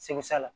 Segu sa la